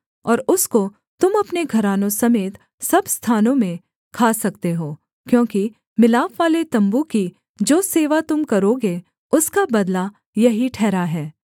और उसको तुम अपने घरानों समेत सब स्थानों में खा सकते हो क्योंकि मिलापवाले तम्बू की जो सेवा तुम करोगे उसका बदला यही ठहरा है